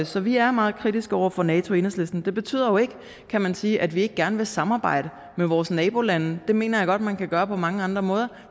så vi er meget kritiske over for nato i enhedslisten det betyder jo ikke kan man sige at vi ikke gerne vil samarbejde med vores nabolande det mener jeg godt man kan gøre på mange andre måder